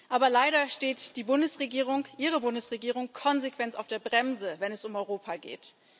Aber leider steht die Bundesregierung, Ihre Bundesregierung, konsequent auf der Bremse, wenn es um Europa geht.